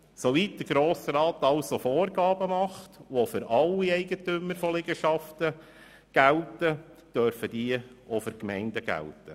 Soweit der Grosse Rat Vorgaben macht, die für alle Eigentümer von Liegenschaften gelten, dürfen sie auch für die Gemeinden gelten.